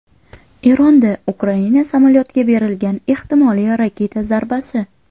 Eronda Ukraina samolyotiga berilgan ehtimoliy raketa zarbasi.